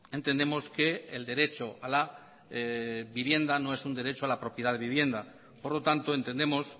entendemos que el derecho a la vivienda no es un derecho a la propiedad de vivienda por lo tanto entendemos